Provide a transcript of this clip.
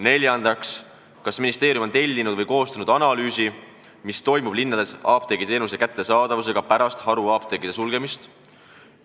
Neljandaks, kas ministeerium on tellinud või koostanud analüüsi, mis toimub linnades apteegiteenuse kättesaadavusega pärast haruapteekide sulgemist?